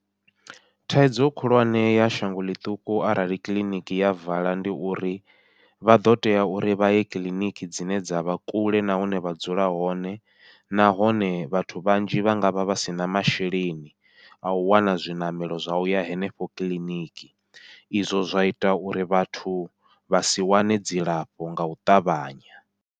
Thaidzo khulwane ya shango ḽiṱuku arali kiḽiniki ya vala ndi uri, vha ḓo tea uri vhaye kiḽiniki dzine dzavha kule na hune vha dzula hone, nahone vhathu vhanzhi vha ngavha vha sina masheleni au wana zwiṋamelo zwa uya henefho kiḽiniki, izwo zwa ita uri vhathu vha si wane dzilafho ngau ṱavhanya.